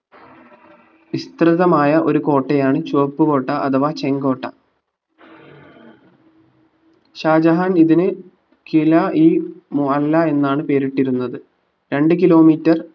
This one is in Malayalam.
വിസ്തൃതമായ ഒരു കോട്ടയാണ് ചുവപ്പ്‌ കോട്ട അഥവാ ചെങ്കോട്ട ഷാജഹാൻ ഇതിന് കില ഇ മുഅല്ല എന്നാണ് പേരിട്ടിരുന്നത് രണ്ട് kilometre